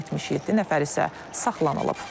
77 nəfər isə saxlanılıb.